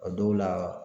A dɔw la